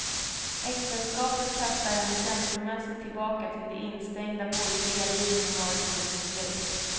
Äktenskapet kastar henne känslomässigt tillbaka till det instängda borgerliga liv som varit hennes uppväxt.